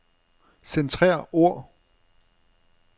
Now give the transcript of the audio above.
Centrer ord.